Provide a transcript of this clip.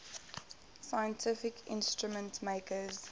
scientific instrument makers